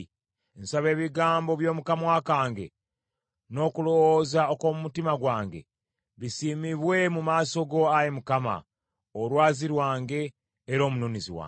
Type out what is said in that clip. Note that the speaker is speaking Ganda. Nsaba ebigambo by’omu kamwa kange, n’okulowooza okw’omu mutima gwange, bisiimibwe mu maaso go, Ayi Mukama , Olwazi lwange, era Omununuzi wange.